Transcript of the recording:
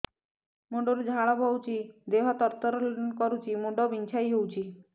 ମୁଣ୍ଡ ରୁ ଝାଳ ବହୁଛି ଦେହ ତର ତର କରୁଛି ମୁଣ୍ଡ ବିଞ୍ଛାଇ ହଉଛି